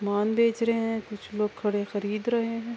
مال بچ رہے ہے۔ کچھ لوگ کھڈے خرید رہے ہے۔